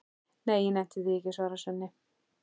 Nei, ég nenni því ekki, svarar Svenni.